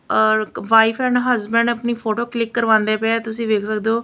ਔਰ wife and husband ਆਪਣੀ photo click ਕਰਵਾਉਂਦੇ ਪਏ ਤੁਸੀਂ ਵੇਖ ਸਕਦੇ ਹੋ।